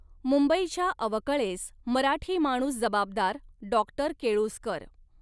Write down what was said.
मुंबईच्या अवकळेस मराठी माणूस जबाबदार डॉक्टर केळुस्कर